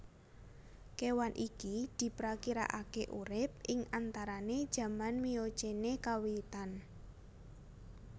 Kewan iki diprakirakake urip ing antarane jaman Miocene kawitan